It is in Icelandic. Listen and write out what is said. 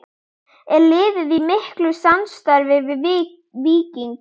Er liðið í miklu samstarfi við Víking?